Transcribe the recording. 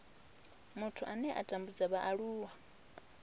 muthu ane a tambudza vhaaluwa